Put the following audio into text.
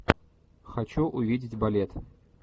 хочу увидеть балет